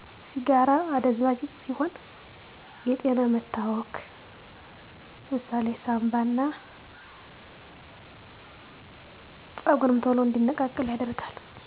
ሲጋራ አደንዛዥ እጽ ሲሆን የጤና መታወክ ሳንባን እና ጥርም ቶሎ እንዲነቃቀሉ ያደርጋል